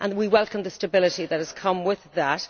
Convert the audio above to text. We welcome the stability that has come with that.